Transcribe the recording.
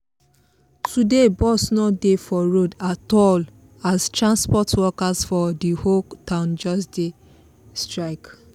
today bus no dey for road at all as transport workers for the whole town just dey do strike